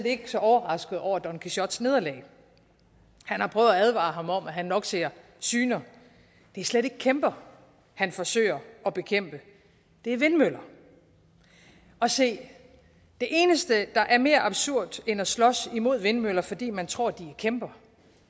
ikke så overrasket over don quixotes nederlag han har prøvet at advare ham om at han nok ser syner det er slet ikke kæmper han forsøger at bekæmpe det er vindmøller og se det eneste der er mere absurd end at slås imod vindmøller fordi man tror at de er kæmper